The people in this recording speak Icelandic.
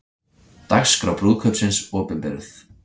Dagskrá brúðkaupsins opinberuð